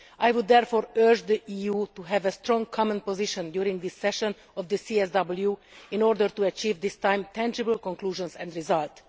I would therefore urge the EU to have a strong common position during this session of the CSW in order to achieve, this time, tangible conclusions and results.